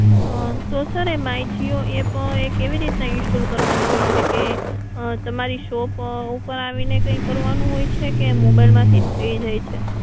અમ તો સર એ માઇ જીઓ એપ એ કેવી રીતના install કરવાની હોય છે કે તમારી શોપ અમ ઉપર આવીને કઈ કરવાનું હોય છે કે મોબાઈલ માંથીજ થઈ જાય છે?